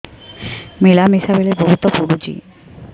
ମିଳାମିଶା ବେଳେ ବହୁତ ପୁଡୁଚି